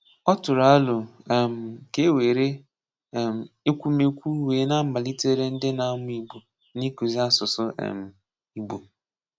Ọ tụ̀rụ̀ àlò um ka e wéré um ekwùmékwù wéè na-amálítèrè ndị na-amụ́ Ìgbò n’ịkụ́zì asụ̀sụ́ um Ìgbò.